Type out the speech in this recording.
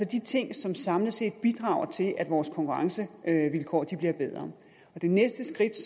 de ting som samlet set bidrager til at vores konkurrencevilkår bliver bedre det næste skridt